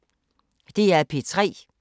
DR P3